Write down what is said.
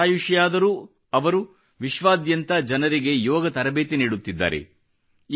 ಶತಾಯುಷಿಯಾದರೂ ಅವರು ವಿಶ್ವಾದ್ಯಂತ ಜನರಿಗೆ ಯೋಗ ತರಬೇತಿ ನೀಡುತ್ತಿದ್ದಾರೆ